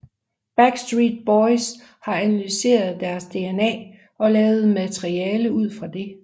Backstreet Boys har analyseret deres DNA og lavet materiale ud fra det